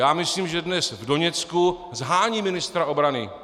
Já myslím, že dnes v Doněcku shánějí ministra obrany.